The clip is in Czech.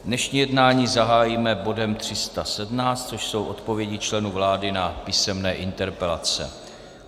Dnešní jednání zahájíme bodem 317, což jsou odpovědi členů vlády na písemné interpelace.